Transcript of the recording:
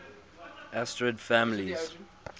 asterid families